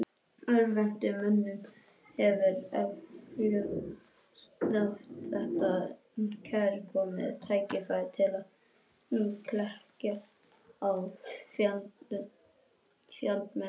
Örvhentum mönnum hefur eflaust þótt þetta kærkomið tækifæri til að klekkja á fjandmönnum sínum.